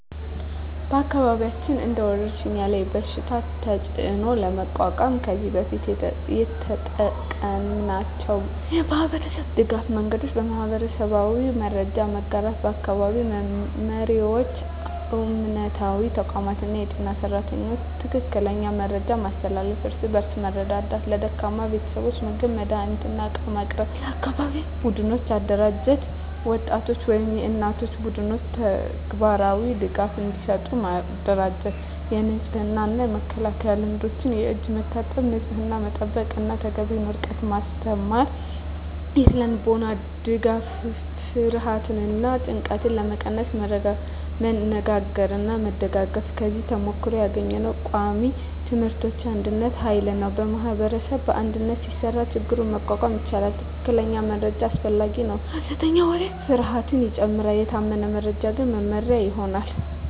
በአካባቢያችን እንደ ወረሽኝ ያለ በሽታ ተፅዕኖ ለመቋቋም ከዚህ በፊት የተጠቀምናቸው የማህበረሰብ ድገፍ መንገዶች :- የማህበራዊ መረጃ መጋራት በአካባቢ መሪዎች፣ እምነታዊ ተቋማት እና የጤና ሰራተኞች ትክክለኛ መረጃ ማስተላለፍ። እርስ በእርስ መርዳት ለደካማ ቤተሰቦች ምግብ፣ መድሃኒት እና ዕቃ ማቅረብ። የአካባቢ ቡድኖች አደራጀት የወጣቶች ወይም የእናቶች ቡድኖች ተግባራዊ ድጋፍ እንዲሰጡ ማደራጀት። የንጽህና እና መከላከያ ልምዶች የእጅ መታጠብ፣ ንጽህና መጠበቅ እና ተገቢ ርቀት ማስተማር። ስነ-ልቦናዊ ድጋፍ ፍርሃትን እና ጭንቀትን ለመቀነስ መነጋገርና መደጋገፍ። ከዚህ ተሞክሮ ያገኘነው ቃሚ ትምህርቶች አንድነት ኃይል ነው ማኅበረሰብ በአንድነት ሲሰራ ችግኝ መቋቋም ይቻላል። ትክክለኛ መረጃ አስፈላጊ ነው ሐሰተኛ ወሬ ፍርሃትን ይጨምራል፤ የታመነ መረጃ ግን መመሪያ ይሆናል።